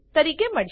તરીકે મળશે